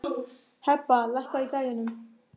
Hebba, lækkaðu í græjunum.